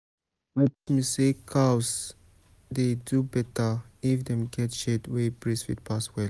my papa teach me say cows dey do better if dem get shade wey breeze fit pass well.